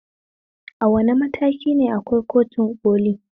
A wane matakine akwai kotun ƙoli?